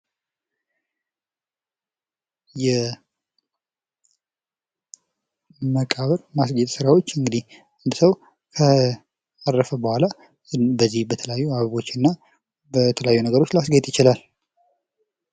የመቃብር ማስጫዎች መቃብር እንግዲያው ካረፈ በኋላ በተለያዩ አበባዎች ያስጌጡታል።